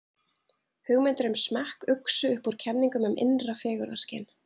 Hugmyndir um smekk uxu upp úr kenningum um innra fegurðarskyn.